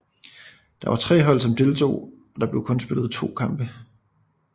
Der var tre hold som deltog og der blev kun spillet to kampe